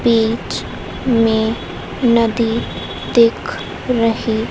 बीच में नदी दिख रही--